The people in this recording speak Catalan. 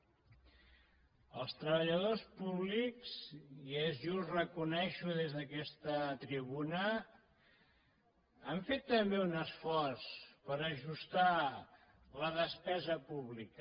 els treballadors públics i és just reconèixer ho des d’aquesta tribuna han fet també un esforç per ajustar la despesa pública